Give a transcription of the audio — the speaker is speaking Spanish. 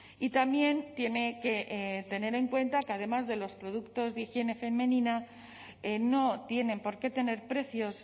y también tiene que tener en cuenta que además de los productos de higiene femenina no tienen por qué tener precios